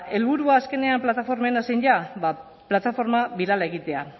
helburua azkenean plataformena zein da ba plataforma birala egitea